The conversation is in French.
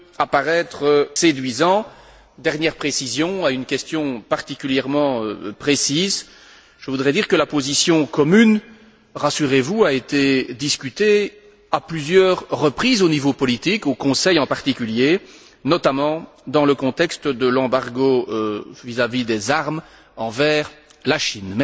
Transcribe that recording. apparaître séduisant. Dernière précision à une question particulièrement précise, je voudrais dire que la position commune, rassurez vous, a été discutée à plusieurs reprises au niveau politique, au Conseil en particulier, notamment dans le contexte de l'embargo sur les armes vis à vis de la Chine.